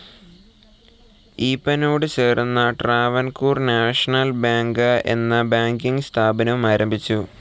ഈപ്പനോട് ചേർന്ന് Travancore national bank എന്ന ബാങ്കിങ്‌ സ്ഥാപനവും ആരംഭിച്ചു.